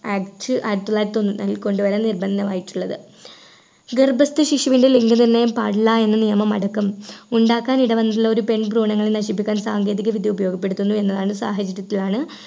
അയച്ചു ആയിരത്തിത്തൊള്ളായിരത്തി ഒന്നിൽ കൊണ്ടുവരാൻ നിർബന്ധമായിട്ടുള്ളത് ഗർഭസ്ഥ ശിശുവിൻ്റെ ലിംഗനിർണയം പാടില്ല എന്ന നിയമം അടക്കം ഉണ്ടാക്കാൻ ഇടവന്നിട്ടുള്ള ഒരു പെൺ ഭ്രൂണങ്ങൾ നശിപ്പിക്കാൻ സാങ്കേതികവിദ്യ ഉപയോഗപ്പെടുത്തുന്നു എന്നതാണ് സാഹചര്യത്തിലാണ്